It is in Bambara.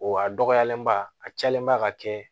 O a dɔgɔyalenba a cayalen ba ka kɛ